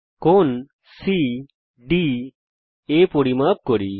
কোণ সিডিএ পরিমাপ করি